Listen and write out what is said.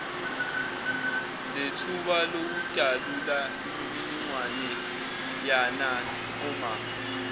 nethuba lokudalula imininingwaneyananoma